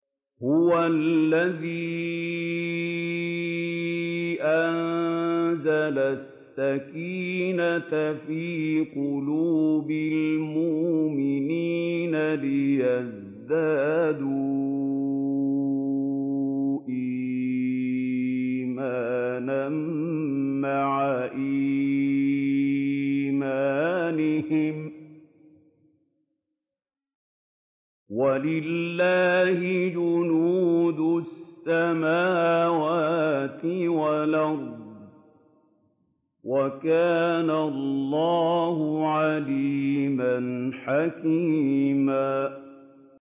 هُوَ الَّذِي أَنزَلَ السَّكِينَةَ فِي قُلُوبِ الْمُؤْمِنِينَ لِيَزْدَادُوا إِيمَانًا مَّعَ إِيمَانِهِمْ ۗ وَلِلَّهِ جُنُودُ السَّمَاوَاتِ وَالْأَرْضِ ۚ وَكَانَ اللَّهُ عَلِيمًا حَكِيمًا